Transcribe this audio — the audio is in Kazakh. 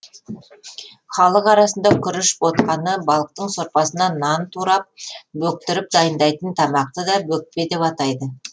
халық арасында күріш ботқаны балықтың сорпасына нан тұрап бөктіріп дайындайтын тамақты да бөкпе деп атайды